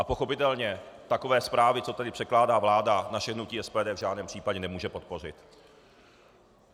A pochopitelně takové zprávy, co tady předkládá vláda, naše hnutí SPD v žádném případě nemůže podpořit.